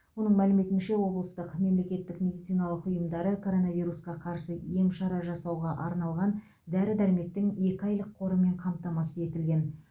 оның мәліметінше облыстың мемлекеттік медициналық ұйымдары коронавирусқа қарсы ем шара жасауға арналған дәрі дәрмектің екі айлық қорымен қамтамасыз етілген